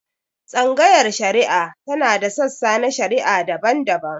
Tsangayar shari'a tana da sassa na shari'a daban-daban.